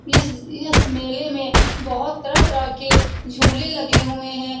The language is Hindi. इस इस मेले में बहुत तरह-तरह के झूले लगे हुए हैं।